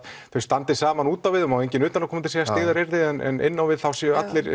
þau standi saman út á við og það má enginn utanaðkomandi segja styggðaryrði en inn á við séu allir